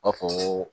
B'a fɔ